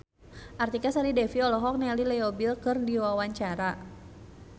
Artika Sari Devi olohok ningali Leo Bill keur diwawancara